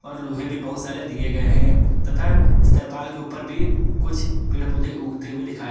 लोहे भी बहुत सारे दिए गए हैं तथा इस तरपाल के ऊपर भी कुछ पेड़ पौधे उगते हुए दिखा--